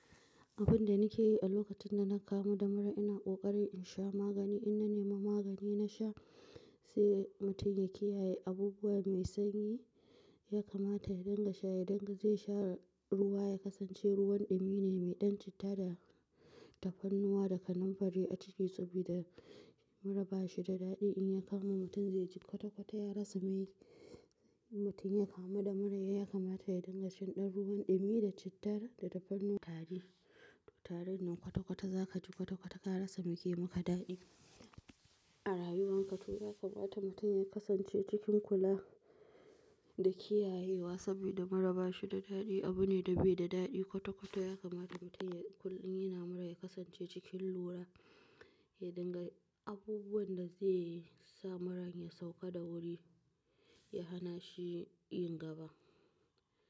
Abun da nake yi a lokacin da na kamu da mura, ina ƙoƙarin in sha magani. In na nema magani na sha, sai mutum ya kiyaye abubuwa mai sanyi, ya kamata ya dinga shaye, danga zai sha ruwa, ya kasance ruwan ɗumi ne mai ɗan citta da tafarnuwa da kanamfari a ciki sabida mura ba shi da daɗi. In ya kama mutum zai ji kwata-kwata ya rasa mai. In mutum ya kamu da mura, ya kamata ya dinga shan ɗan ruwan ɗumi da cittar da tafannu--. Tari, to tari nan kwata-kwata za ka ji kwata-kwata ka rasa me ke maka daɗi a rayuwarka. To yakamata mutum ya kasance cikin kula da kiyayewa sabida mura ba shi da daɗi. Abu ne da bai da daɗi kwata-kwata. Ya kamata mutum ya kullum in yana mura ya kasance cikin lura, ya dinga abubuwan da zai sa muran ya sauka da wuri, ya hana shi yin gaba.